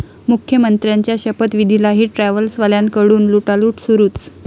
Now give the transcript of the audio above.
मुख्यमंत्र्यांचा शपथविधीलाही ट्रॅव्हल्सवाल्यांकडून लुटालूट सुरूच